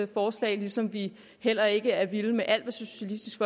forslag ligesom vi heller ikke er vilde med alt hvad socialistisk